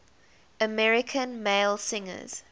american male singers